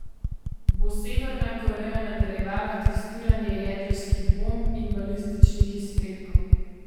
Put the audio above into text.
Bo Severna Koreja nadaljevala testiranje jedrskih bomb in balističnih izstrelkov?